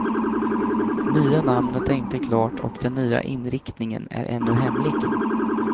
Nya namnet är inte klart och den nya inriktningen är ännu hemlig.